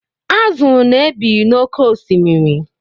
Azụ na-ebi n'oké osimiri.